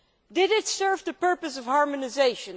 Does it serve the purpose of harmonisation?